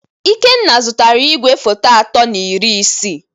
Ikenna zụtara ìgwè photo atọ na iri isii